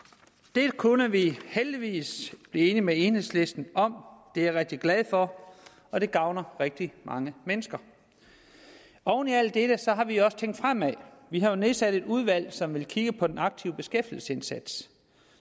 dette kunne vi heldigvis blive enige med enhedslisten om og det er jeg rigtig glad for og det gavner rigtig mange mennesker oven i alt dette har vi også tænkt fremad vi har nedsat et udvalg som vil kigge på den aktive beskæftigelsesindsats